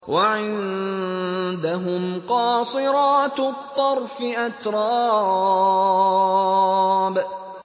۞ وَعِندَهُمْ قَاصِرَاتُ الطَّرْفِ أَتْرَابٌ